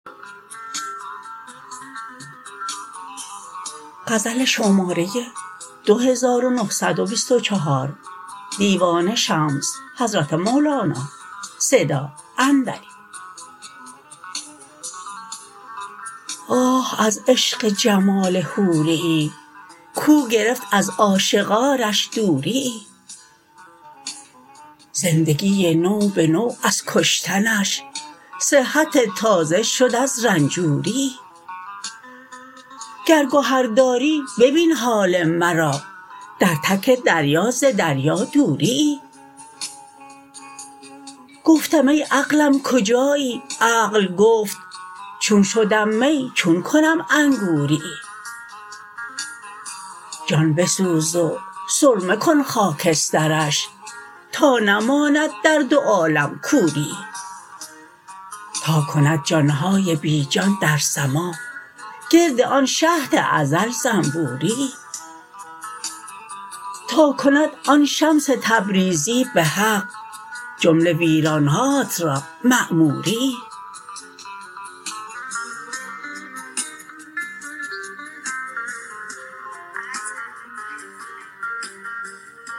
آه از عشق جمال حوره ای کو گرفت از عاشقانش دوره ای زندگی نوبه نو از کشتنش صحتی تازه شد از رنجوره ای گر گهر داری ببین حال مرا در تک دریا ز دریا دوره ای گفتم ای عقلم کجایی عقل گفت چون شدم می چون کنم انگوره ای جان بسوز و سرمه کن خاکسترش تا نماند در دو عالم کوره ای تا کند جان های بی جان در سماع گرد آن شهد ازل زنبوره ای تا کند آن شمس تبریزی به حق جمله ویران هات را معموره ای